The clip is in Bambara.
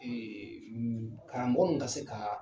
Ee karamɔgɔ ninnu ka se ka